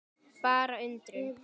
Bara undrun.